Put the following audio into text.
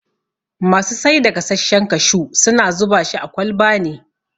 Masu saida gasashshen kashu suna zubashi a kwalba ne